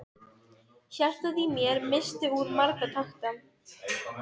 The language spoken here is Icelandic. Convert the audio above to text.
Hjartað í mér missti úr marga takta.